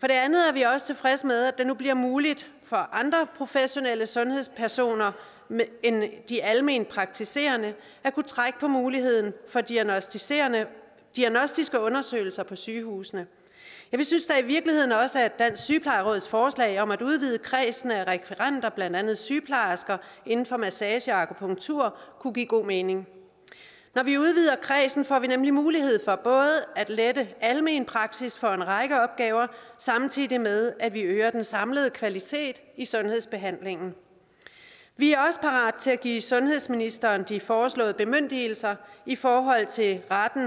for det andet er vi også tilfredse med at det nu bliver muligt for andre professionelle sundhedspersoner end de almenpraktiserende at kunne trække på muligheden for diagnostiske diagnostiske undersøgelser på sygehusene vi synes i virkeligheden også at dansk sygeplejeråds forslag om at udvide kredsen af rekvirenter blandt andet sygeplejersker inden for massage og akupunktur kunne give god mening når vi udvider kredsen får vi nemlig mulighed for både at lette almenpraksis for en række opgaver samtidig med at vi øger den samlede kvalitet i sundhedsbehandlingen vi er også parat til at give sundhedsministeren de foreslåede bemyndigelser i forhold til retten